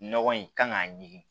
Nɔgɔ in kan k'a ɲimi